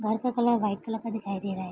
घर का colour white colour का दिखाई दे रहा है।